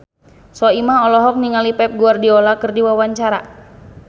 Soimah olohok ningali Pep Guardiola keur diwawancara